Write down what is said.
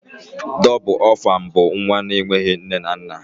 Dóbul orphan bú nwa na enweghị nne na nna.